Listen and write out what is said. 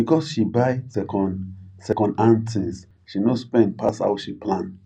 because she buy second second hand things she no spend pass how she plan